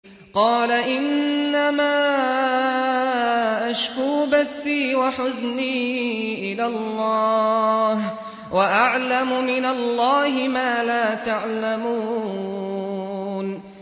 قَالَ إِنَّمَا أَشْكُو بَثِّي وَحُزْنِي إِلَى اللَّهِ وَأَعْلَمُ مِنَ اللَّهِ مَا لَا تَعْلَمُونَ